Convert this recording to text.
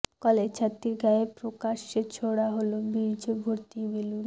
college ছাত্রীর গায়ে প্রকাশ্যে ছোড়া হল বীর্য ভর্তি বেলুন